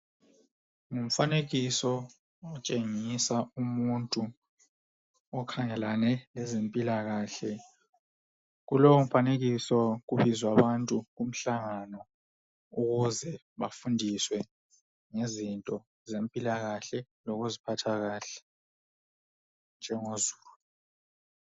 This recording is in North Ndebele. umfanekiso otshengisa umuntu okhangelane lezempilakahle, kulowu mfanekiso kubizwa abantu umhlangano ukuze bafundiswe ngezinto zempilakahle lokuziphatha kahle njengo zulu.